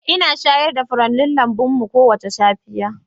Ina shayar da furannin lambun mu kowace safiya.